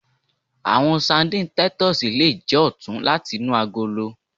Awọn sardines titus le jẹ ọtun lati inu agolo